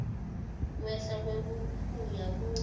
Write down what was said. kwehla kwebuphuya kube